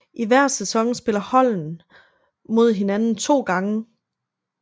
I hver sæson spiller holdene mod hinanden to gange